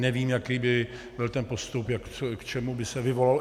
Nevím, jaký by byl ten postup, k čemu by se vyvolalo...